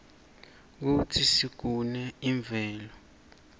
kutsi sigune imvelo